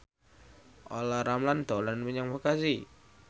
Olla Ramlan dolan menyang Bekasi